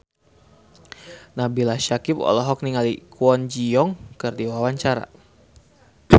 Nabila Syakieb olohok ningali Kwon Ji Yong keur diwawancara